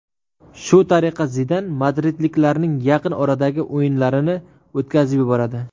Shu tariqa Zidan madridliklarning yaqin oradagi o‘yinlarini o‘tkazib yuboradi.